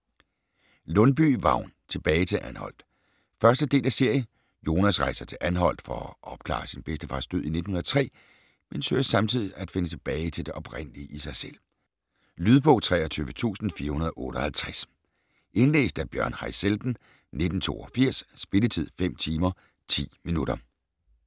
Lundbye, Vagn: Tilbage til Anholt 1. del af serie. Jonas rejser til Anholt for at opklare sin bedstefars død i 1903, men søger samtidig at finde tilbage til det oprindelige i sig selv. Lydbog 23458 Indlæst af Bjørn Haizelden, 1982. Spilletid: 5 timer, 10 minutter.